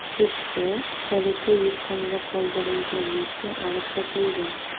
Chustda kaliti yukxonada qoldirilgan Nexia olib qochildi.